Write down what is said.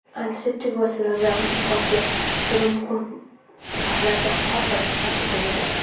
antiseptik vositalar bilan jihozlash kabi muhim jihatlar ham alohida qayd etilgan.